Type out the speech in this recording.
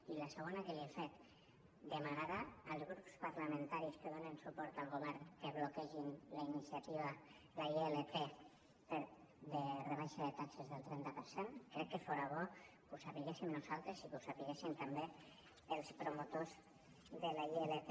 i la segona que li he fet demanarà als grups parlamentaris que donen suport al govern que bloquegin la iniciativa la ilp de rebaixa de taxes del trenta per cent crec que fora bo que ho sabéssim nosaltres i que ho sabessin també els promotors de la ilp